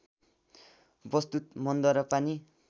वस्तुत मनद्वारा पनि